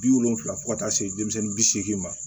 Bi wolonfila fɔ ka taa se denmisɛnni bi seegi ma